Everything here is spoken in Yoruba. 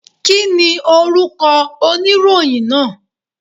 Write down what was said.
Kí ni orúkọ oníròyìn náà?